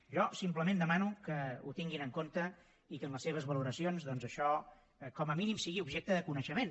jo simplement demano que ho tinguin en compte i que en les seves valoracions doncs això com a mínim sigui objecte de coneixement